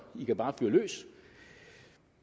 i kan bare fyre løs